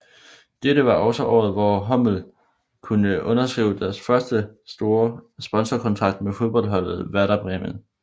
Dette var også året hvor hummel kunne underskrive deres første store sponsorkontrakt med fodboldholdet Werder Bremen